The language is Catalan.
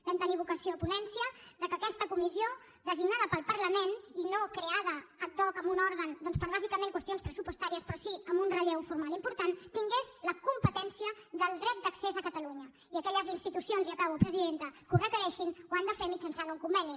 vam tenir vocació a ponència que aquesta comissió designada pel parlament i no creada ad hoc amb un òrgan doncs per bàsicament qüestions pressupostàries però sí amb un relleu formal important tingués la competència del dret d’accés a catalunya i aquelles institucions i acabo presidenta que ho requereixin ho han de fer mitjançant un conveni